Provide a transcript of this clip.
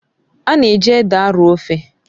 Ana eji ede arọọ ofe